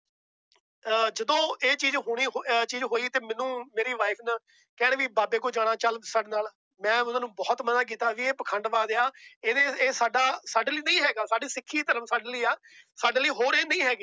ਅਹ ਜਦੋਂ ਇਹ ਚੀਜ਼ ਹੋਣੀ ਅਹ ਚੀਜ਼ ਹੋਈ ਤੇ ਮੈਨੂੰ ਮੇਰੀ wife ਨੇ ਕਹਿਣਾ ਵੀ ਬਾਬੇ ਕੋਲ ਜਾਣਾ ਚੱਲ ਸਾਡੇ ਨਾਲ, ਮੈਂ ਉਹਨਾਂ ਨੂੰ ਬਹੁਤ ਮਨਾ ਕੀਤਾ ਵੀ ਇਹ ਪਾਖੰਡਬਾਜ ਆ ਇਹਨੇ ਇਹ ਸਾਡਾ ਸਾਡੇ ਲਈ ਨਹੀਂ ਹੈਗਾ, ਸਾਡੀ ਸਿੱਖੀ ਧਰਮ ਸਾਡੇ ਲਈ ਆ ਸਾਡੇ ਲਈ ਹੋਰ ਇਹ ਨਹੀਂ ਹੈਗੇ